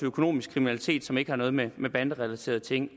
økonomisk kriminalitet som ikke har noget med banderelaterede ting